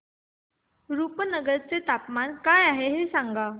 रुपनगर चे तापमान काय आहे सांगा